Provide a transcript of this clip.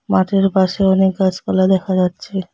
মাঠের পাশে অনেক গাছপালা দেখা যাচ্ছে।